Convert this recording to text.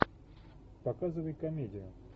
показывай комедию